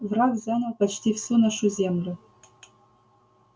враг занял почти всю нашу землю